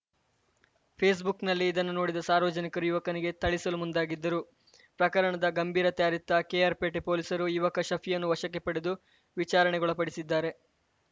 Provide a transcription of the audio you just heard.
ಫೇಸ್‌ಬುಕ್‌ನಲ್ಲಿ ಇದನ್ನು ನೋಡಿದ ಸಾರ್ವಜನಿಕರು ಯುವಕನಿಗೆ ಥಳಿಸಲು ಮುಂದಾಗಿದ್ದರು ಪ್ರಕರಣದ ಗಂಭೀರತೆ ಅರಿತ ಕೆಆರ್‌ಪೇಟೆ ಪೊಲೀಸರು ಯುವಕ ಶಫಿಯನ್ನು ವಶಕ್ಕೆ ಪಡೆದು ವಿಚಾರಣೆಗೊಳಪಡಿಸಿದ್ದಾರೆ